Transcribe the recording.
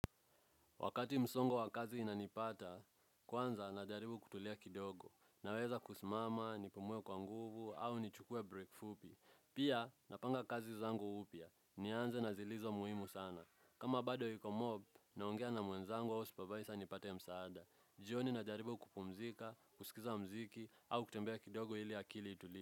Wakati msongo wa kazi inanipata, kwanza najaribu kutulia kidogo, naweza kusimama, nipumuwe kwa nguvu, au nichukuwe break fupi. Pia, napanga kazi zangu upya, nianze na zilizo muhimu sana. Kama bado yiko mob, naongea na mwenzangu au supervisor nipate msaada. Jioni najaribu kupumzika, kusikiza mziki, au kutembea kidogo ili akili itulie.